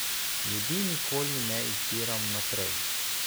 Ljudi nikoli ne izbiram vnaprej.